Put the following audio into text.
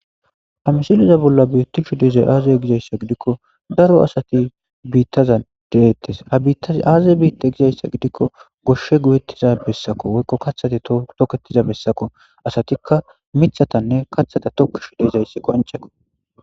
hamishiliza bolla biitti shu dezay aazay gizayssa gidikko daro asati biittaza deettes ha biittaz aazay biitta gizayssa gidikko goshshe guyettiza bessako woykko kathati tokettiza bessako asatikka mithatanne kathata tokkishu deizayssi qoncheko